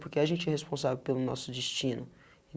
Porque a gente é responsável pelo nosso destino.